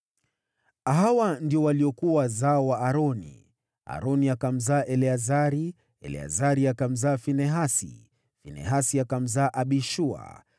Hawa ndio waliokuwa wazao wa Aroni: Aroni akamzaa Eleazari, Eleazari akamzaa Finehasi, Finehasi akamzaa Abishua,